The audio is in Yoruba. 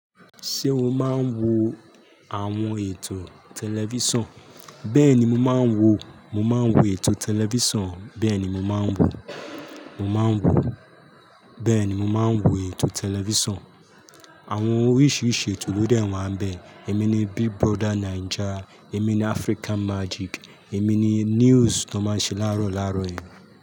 Ṣé o máa ń wo àwọn ètò tẹlifíṣàn? Bẹ́ẹ̀ ni mo máa ń wo, mo máa ń wo ètò tẹlifíṣàn, bẹ́ẹ̀ ni mo máa ń wo, mo máa ń wo, bẹ́ẹ̀ ni mo máa ń wo ètò tẹlifíṣàn. Àwọn oríṣiríṣi ètò ló dẹ́ wa ni bẹ́. Èmi ni Big Brother Naija, èmi ni African Magic, èmi ni news tó máa ń ṣe láàárọ̀ láàrọ̀ yẹn.